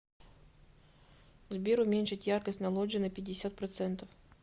сбер уменьшить яркость на лоджии на пятьдесят процентов